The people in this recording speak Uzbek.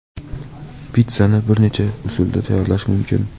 Pitssani bir necha usulda tayyorlash mumkin.